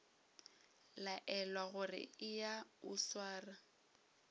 laelwa gore eya o sware